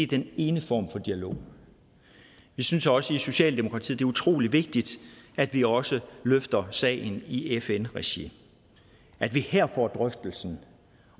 den ene form for dialog vi synes også i socialdemokratiet utrolig vigtigt at vi også løfter sagen i fn regi at vi her får drøftelsen